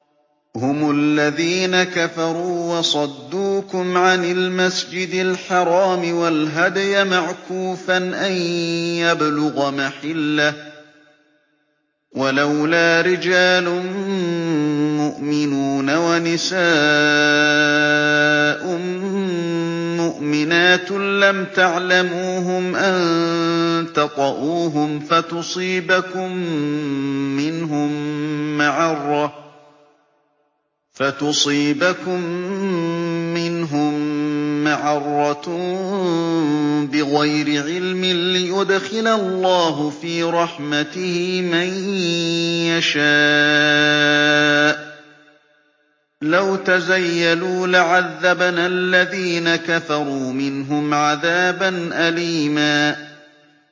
هُمُ الَّذِينَ كَفَرُوا وَصَدُّوكُمْ عَنِ الْمَسْجِدِ الْحَرَامِ وَالْهَدْيَ مَعْكُوفًا أَن يَبْلُغَ مَحِلَّهُ ۚ وَلَوْلَا رِجَالٌ مُّؤْمِنُونَ وَنِسَاءٌ مُّؤْمِنَاتٌ لَّمْ تَعْلَمُوهُمْ أَن تَطَئُوهُمْ فَتُصِيبَكُم مِّنْهُم مَّعَرَّةٌ بِغَيْرِ عِلْمٍ ۖ لِّيُدْخِلَ اللَّهُ فِي رَحْمَتِهِ مَن يَشَاءُ ۚ لَوْ تَزَيَّلُوا لَعَذَّبْنَا الَّذِينَ كَفَرُوا مِنْهُمْ عَذَابًا أَلِيمًا